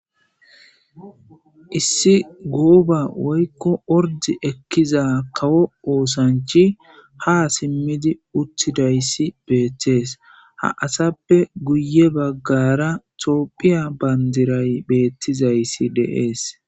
issi gooba woykko ordi ekkiza kawo oosanchi ha simmidi uttidayssi beettees ha asappe guye baggara toopphiya bandiray beettizayssi deees